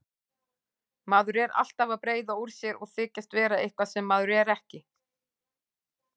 Maður er alltaf að breiða úr sér og þykjast vera eitthvað sem maður er ekki.